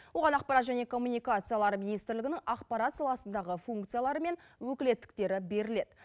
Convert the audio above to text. оған ақпарат және коммуникациялар министрлігінің ақпарат саласындағы функциялары мен өкілеттіктері беріледі